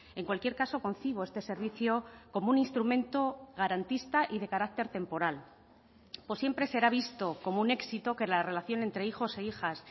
en cualquier caso concibo este servicio como un instrumento garantista y de carácter temporal siempre será visto como un éxito que la relación entre hijos e hijas